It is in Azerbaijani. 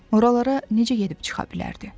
Oralara necə gedib çıxa bilərdi?